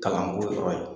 Kalanko yɔrɔ ye